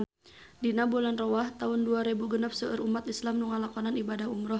Dina bulan Rewah taun dua rebu genep seueur umat islam nu ngalakonan ibadah umrah